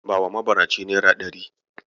Bawa mabaracin naira ɗari.